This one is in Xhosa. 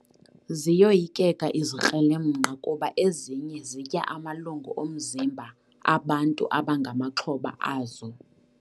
Ziyoyikeka izikrelemnqa kuba ezinye zitya amalungu omzimba abantu abangamaxhoba azo.